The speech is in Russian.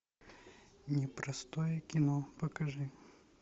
непростое кино покажи